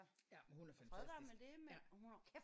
Ja men hun er fantastisk